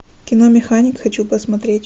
кино механик хочу посмотреть